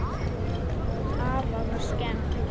Afa var skemmt.